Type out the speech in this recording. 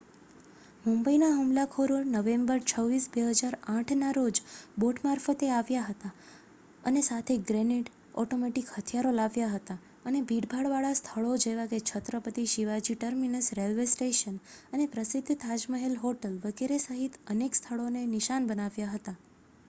મુંબઈના હુમલાખોરો નવેમ્બર 26 2008ના રોજ બોટ મારફતે આવ્યા હતા અને સાથે ગ્રેનેડ ઓટોમેટિક હથિયારો લાવ્યા હતા અને ભીડભાડવાળા સ્થળો જેવાકે Chhatrapati Shivaji terminus railway station અને પ્રસિદ્ધ તાજમહેલ હોટલ વગેરે સહિત અનેક સ્થળોને નિશાન બનાવ્યા હતા